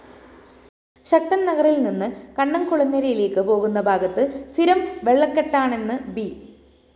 ശക്തന്‍നഗറില്‍ നിന്ന് കണ്ണംകുളങ്ങരയിലേക്കു പോകുന്ന ഭാഗത്ത് സ്ഥിരം വെളളക്കെട്ടാണെന്ന് ബി